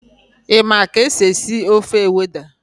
Ị ma ka esi esi ofe Ewedu?